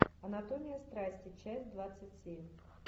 анатомия страсти часть двадцать семь